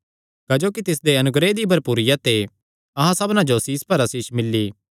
क्जोकि तिसदे अनुग्रह दी भरपूरिया ते अहां सबना जो आसीष पर आसीष मिल्ली